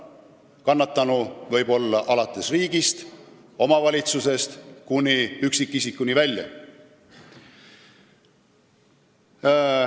Kannatanuks võib olla riik või omavalitsus, kuni üksikisikuni välja.